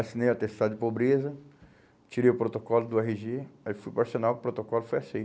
Assinei o atestado de pobreza, tirei o protocolo do erre gê, aí fui para o arsenal, o protocolo foi